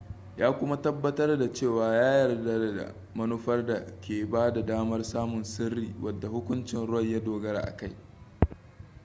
ya kuma tabbatar da cewa ya yarda da manufar da ke bada damar samun sirri wadda hukuncin roe ya dogara a kai